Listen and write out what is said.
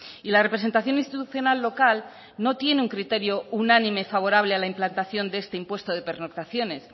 y la representación institucional local no tiene un criterio unánime favorable a la implantación de este impuesto de pernoctaciones